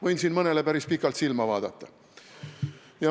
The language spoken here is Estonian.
Võin mõnele päris pikalt silma vaadata.